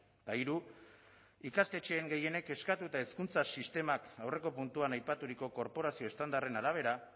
eta hiru ikastetxeen gehienek eskatuta hezkuntza sistemak aurreko puntuan aipaturiko korporazio estandarren arabera